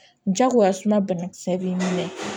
Jagoyasuma banakisɛ bɛ n minɛ